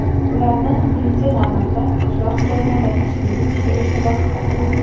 Ularni, birinchi navbatda, qishloq joylarda tashkil etishga e’tibor qaratiladi.